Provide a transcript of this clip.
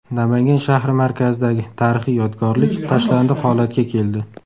Namangan shahri markazidagi tarixiy yodgorlik tashlandiq holatga keldi.